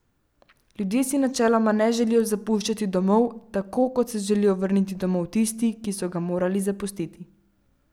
Ljudje si načeloma ne želijo zapuščati domov, tako kot se želijo vrniti domov tisti, ki so ga morali zapustiti.